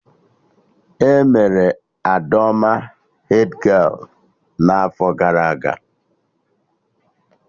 Emere Adaome hedgialụ n'afọ gara aga